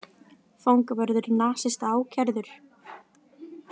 Fangavörður nasista ákærður